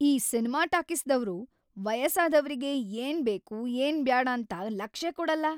ಈ ಸಿನಿಮಾ ಟಾಕೀಸ್‌ದವ್ರು ವಯಸ್ಸಾದವ್ರಿಗಿ ಏನ್‌ ಬೇಕು ಏನ್‌ ಬ್ಯಾಡಂತ ಲಕ್ಷೇ ಕೊಡಲ್ಲ.